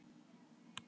Gili